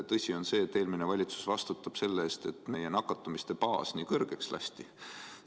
Tõsi on see, et eelmine valitsus vastutab selle eest, et meie nakatumiste baas nii laiaks lasti.